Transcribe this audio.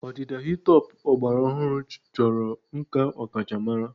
Ọdịda hi-top ọgbara ọhụrụ chọrọ nkà ọkachamara.